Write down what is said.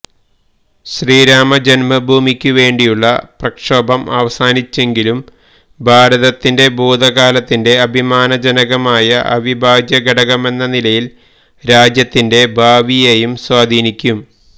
ശ്രീരാമജന്മഭൂമിക്കു വേണ്ടിയുള്ള പ്രക്ഷോഭം അവസാനിച്ചെങ്കിലും ഭാരതത്തിന്റെ ഭൂതകാലത്തിന്റെ അഭിമാനജനകമായ അവിഭാജ്യ ഘടകമെന്ന നിലയില് രാജ്യത്തിന്റെ ഭാവിയേയും സ്വാധീനിക്കും